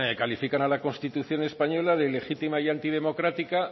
califican a la constitución española de ilegítima y antidemocrática